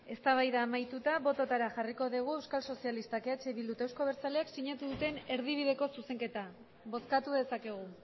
eztabaida amaituta bototara jarriko dugu euskal sozialistak eh bildu eta euzko abertzaleak sinatu duten erdibideko zuzenketa bozkatu dezakegu